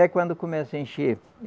É quando começa a encher.